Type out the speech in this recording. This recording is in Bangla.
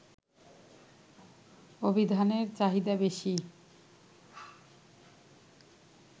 অভিধানের চাহিদা বেশি